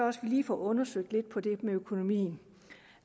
vi lige får undersøgt det med økonomien